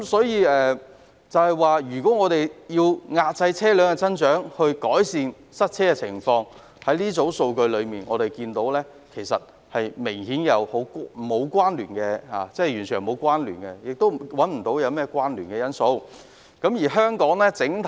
因此，關於透過遏制車輛增長改善塞車情況的說法，從這些數據可見，兩者是完全沒有關聯的，而我亦找不到任何關聯的因素。